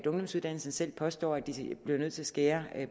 ungdomsuddannelserne selv påstår at de bliver nødt til at skære